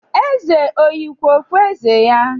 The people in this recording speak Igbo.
Eze ọ yikwa okpueze ya?